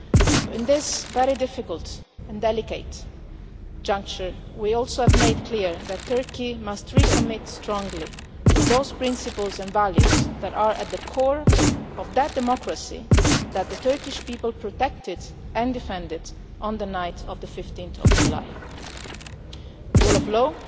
So at this very difficult and delicate juncture we also have made it clear that Turkey must recommit strongly to those principles and values that are at the core of the democracy that the Turkish people protected and defended on the night of 15 July the rule of law,